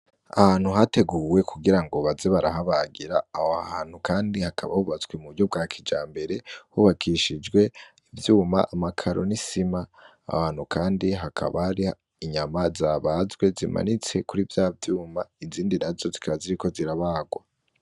Ahantu hateguwe ku gira baze barahabagira aho hantu kandi hakaba hubatswe mu buryo bwa kijambere hakaba hubakishijwe ivyuma amakaro n'isima aho hantu kandi hakaba hariho inyama zimanitse kuri vyavyuma izindi nazo zikaba ziriko zirabarwa.